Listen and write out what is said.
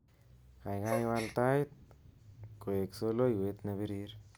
Kaikai wal tait koek soloiwet nebirir